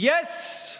Yes!